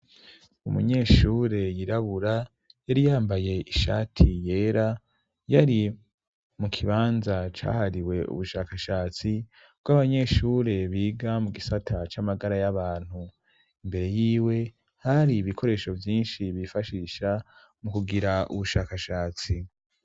Umunyeshure yirabura yari yambaye ishati yera yari mu kibanza cahariwe ubushakashatsi bw'abanyeshure biga mu gisata c'amagara y'abantu imbere yiwe hari ibikoresho vyinshi bifashisha mu kugira ubushakashatsi.